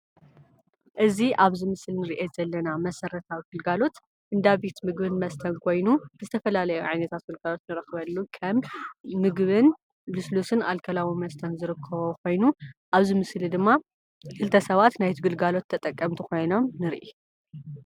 እዚ ኣብዚ ምስሊ እንሪኦ ዘለና መሰረታዊ ግልጋሎት እንዳ ቤት ምግብን መስተን ኮይኑ ዝተፈላለዩ ዓይነት ግልጋሎት ከም ምግብን፣ ልስሉስን ኣልኮላዊ መስተን ዝርከብዎ ኮይኑ ኣብዚ ምስሊ ድማ ክልተ ሰባት ናይቲ ግልጋሎት ተጠቀምቲ ኮይኖም ንርኢ።